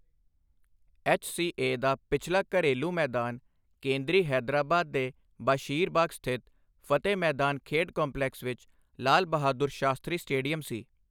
HCA. ਦਾ ਪਿਛਲਾ ਘਰੇਲੂ ਮੈਦਾਨ ਕੇਂਦਰੀ ਹੈਦਰਾਬਾਦ ਦੇ ਬਸ਼ੀਰਬਾਗ ਸਥਿਤ ਫਤਿਹ ਮੈਦਾਨ ਖੇਡ ਕੰਪਲੈਕਸ ਵਿੱਚ ਲਾਲ ਬਹਾਦੁਰ ਸ਼ਾਸਤਰੀ ਸਟੇਡੀਅਮ ਸੀ।